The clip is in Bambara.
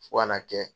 Fo ka n'a kɛ